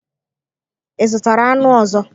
Ị zụtara anụ ọzọ?